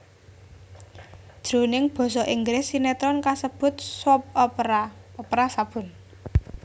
Jroning basa Inggris sinétron kasebut soap opera opera sabun